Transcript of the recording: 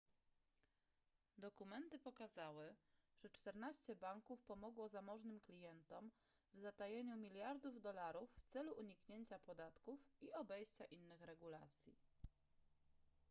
dokumenty pokazały że czternaście banków pomogło zamożnym klientom w zatajeniu miliardów dolarów w celu uniknięcia podatków i obejścia innych regulacji